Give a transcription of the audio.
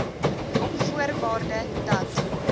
op voorwaarde dat